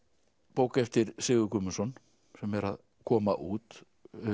bók eftir Sigurð Guðmundsson sem er að koma út